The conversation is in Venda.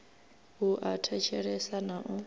a u thetshelesa na u